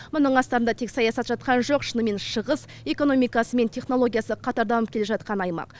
мұның астарында тек саясат жатқан жоқ шынымен шығыс экономикасы мен технологиясы қатар дамып келе жатқан аймақ